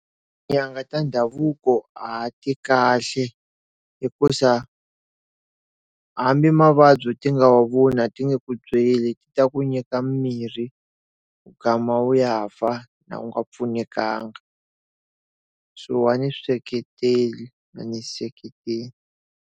Nyanga ta ndhavuko a ti kahle hikuza hambi mavabyi ti nga wa voni a ti nge ku byeli, ti ta ku nyika mimirhi u ya fa u nga pfunekanga. So a ni swi seketeli, a ni swi seketeli.